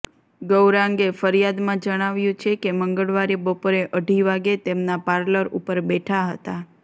ગૌરાંગે ફરિયાદમાં જણાવ્યુ છે કે મંગળવારે બપોરે અઢી વાગે તેમના પાર્લર ઉપર બેઠા હતા